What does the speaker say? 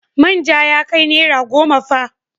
Manja ya kai naira goma fa.